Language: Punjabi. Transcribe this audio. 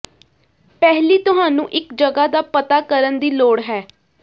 ਪਹਿਲੀ ਤੁਹਾਨੂੰ ਇੱਕ ਜਗ੍ਹਾ ਦਾ ਪਤਾ ਕਰਨ ਦੀ ਲੋੜ ਹੈ